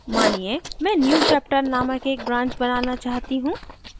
मानिए मैं newchapter named एक branch बनाना चाहती हूँ